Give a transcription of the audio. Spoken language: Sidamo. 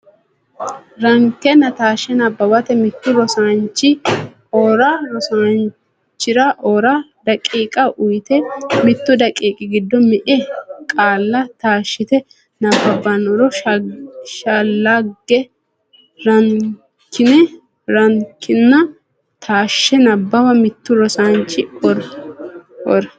Rankenna Taashshe Nabbawa Mittu rosaanchi o ra daqiiqa uyte mittu daqiiqi giddo me e qaale taashshite nabbabbannoro shallagi Rankenna Taashshe Nabbawa Mittu rosaanchi o ra.